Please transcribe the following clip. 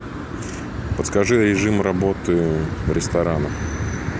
подскажи режим работы ресторана